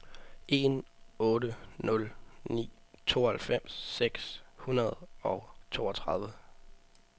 en otte nul ni tooghalvfems seks hundrede og toogtredive